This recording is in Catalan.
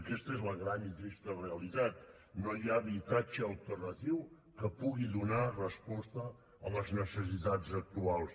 aquesta és la gran i trista realitat no hi ha habitatge alternatiu que pugui donar resposta a les necessitats actuals